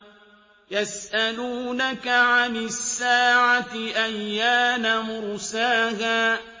يَسْأَلُونَكَ عَنِ السَّاعَةِ أَيَّانَ مُرْسَاهَا